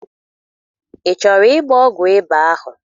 Ị chọrọ ịgba ọgwụ ịba ahụ?